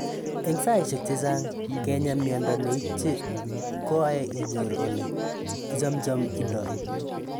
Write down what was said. Eng saishek chechang ,ngenya miondo ne itiche ko ae inyor ole ichacham indoi